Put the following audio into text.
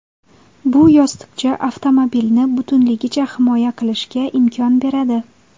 Bu yostiqcha avtomobilni butunligicha himoya qilishga imkon beradi.